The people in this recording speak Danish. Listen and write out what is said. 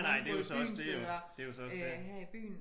Nej nej det er jo så også det jo det er jo så også det